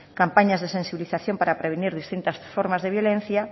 campañas de sensibilización para prevenir distintas formas de violencia